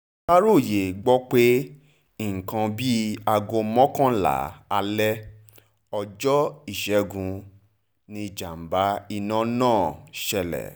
aláròye gbọ́ pé ní nǹkan bíi aago mọ́kànlá alẹ́ ọjọ́ ìṣẹ́gun yìí nìjàmbá iná náà ṣẹlẹ̀